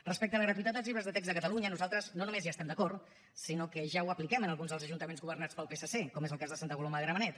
respecte a la gratuïtat dels llibres de text a catalunya nosaltres no només hi estem d’acord sinó que ja ho apliquem en alguns dels ajuntaments governats pel psc com és el cas de santa coloma de gramenet